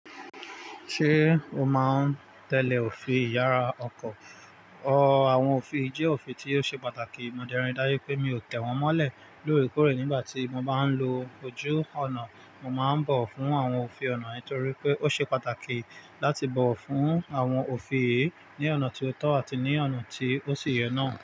Ṣé o máa ń tẹ̀lé òfin ìyára ọkọ̀? Ọ, àwọn òfin yi jẹ́ òfin tí ó ṣe pàtàkì. Mo dẹ n ri dáju pé mi ò tẹ̀ wọ́n mọ́lẹ̀ lóòrèkóòrè nígbà tí mo bá ń lo ojú ọ̀nà. Mo máa ń bọ̀wo fún àwọn òfin ọ̀nà nítorí pé ó ṣe pàtàkì láti bọ̀wo fún àwọn òfin yìí ní ọ̀nà tí ó tọ́ àti ní ọ̀nà tí ó sì yẹ náà.